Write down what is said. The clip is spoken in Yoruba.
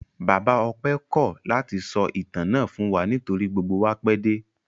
Bàbá Ọpẹ́ kọ́ ọ̀ láti sọ ìtàn náà fún wa nítorí gbogbo wa pẹ́ dé.